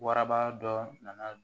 Waraba dɔ nana